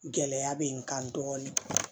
Gɛlɛya bɛ n kan dɔɔnin